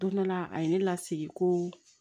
Don dɔ la a ye ne lasigi ko